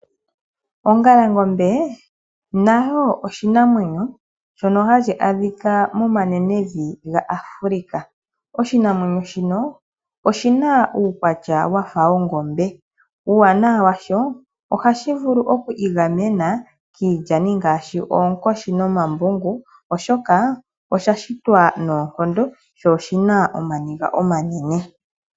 Ongalangombe nayo oshinamwenyo shono hashi adhika momanenevi gaAfrica. Oshinamwenyo shino oshi na uukwatya wa fa wongombe uuwanawa washo ohashi vulu okwiigamena kiilyani ngaashi oonkoshi nomambungu oshoka osha shitwa noonkondo sho oshi na omaniga omanene.